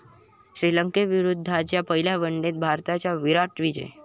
श्रीलंकेविरुद्धच्या पहिल्या वनडेत भारताचा 'विराट' विजय